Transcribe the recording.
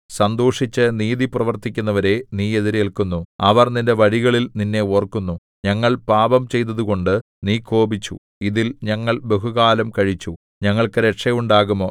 സന്തോഷിച്ചു നീതി പ്രവർത്തിക്കുന്നവരെ നീ എതിരേല്ക്കുന്നു അവർ നിന്റെ വഴികളിൽ നിന്നെ ഓർക്കുന്നു ഞങ്ങൾ പാപംചെയ്തതുകൊണ്ട് നീ കോപിച്ചു ഇതിൽ ഞങ്ങൾ ബഹുകാലം കഴിച്ചു ഞങ്ങൾക്കു രക്ഷ ഉണ്ടാകുമോ